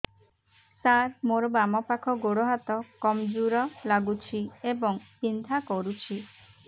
ସାର ମୋର ବାମ ପାଖ ଗୋଡ ହାତ କମଜୁର ଲାଗୁଛି ଏବଂ ବିନ୍ଧା କରୁଛି